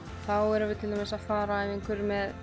þá erum við til dæmis að fara ef einhver er með